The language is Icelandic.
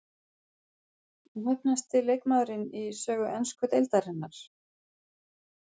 Óheppnasti leikmaðurinn í sögu ensku deildarinnar?